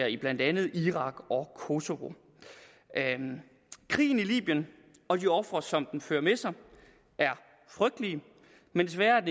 i blandt andet irak og kosovo krigen i libyen og de ofre som den fører med sig er frygtelige men desværre er